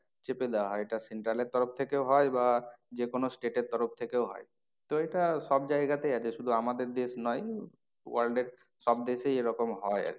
চেপে দেওয়া হয়। এটা central এর তরফ থেকেও হয় বা যে কোনো state এর তরফ থেকেও হয়। তো এটা সব জায়গাতে আছে শুধু আমাদের দেশ নয় world এর সব দেশেই এরকম হয়